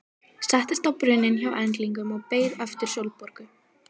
Settist á brunninn hjá englinum og beið eftir Sólborgu.